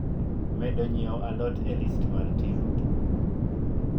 medo nyiewo a lot e list mar timo